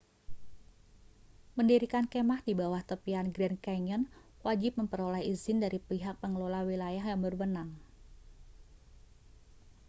mendirikan kemah di bawah tepian grand canyon wajib memperoleh izin dari pihak pengelola wilayah yang berwenang